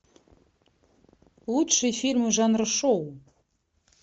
лучшие фильмы жанра шоу